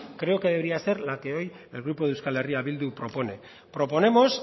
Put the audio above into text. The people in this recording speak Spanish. creo que debería ser la que hoy el grupo de euskal herria bildu propone proponemos